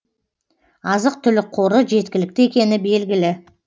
азық түлік қоры жеткілікті екені белгілі